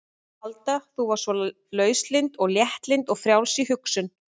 Alda þú varst svo lauslynd og léttlynd og frjáls í hugsun.